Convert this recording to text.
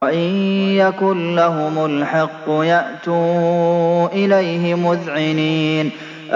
وَإِن يَكُن لَّهُمُ الْحَقُّ يَأْتُوا إِلَيْهِ مُذْعِنِينَ